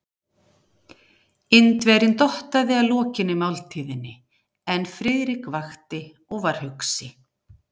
Indverjinn dottaði að lokinni máltíðinni, en Friðrik vakti og var hugsi.